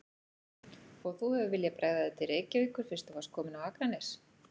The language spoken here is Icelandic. Og þú hefur viljað bregða þér til Reykjavíkur fyrst þú varst kominn á Akranes?